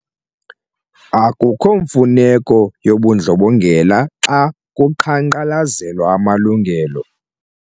Akukho mfuneko yobundlobongela xa kuqhankqalazelwa amalungelo.